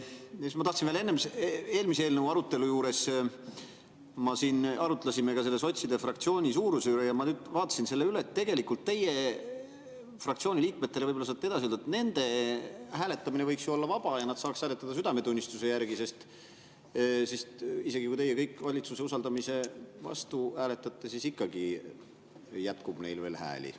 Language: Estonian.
Siis ma tahtsin veel, et eelmise eelnõu arutelu juures me siin arutlesime ka sotside fraktsiooni suuruse üle, aga ma nüüd vaatasin selle üle ja mõtlen, et tegelikult teie fraktsiooni liikmetele – võib-olla saate neile edasi öelda – võiks ju hääletamine olla vaba, nii et nad saaksid hääletada südametunnistuse järgi, sest isegi kui teie kõik valitsuse usaldamise vastu hääletate, siis ikkagi jätkub neil veel hääli.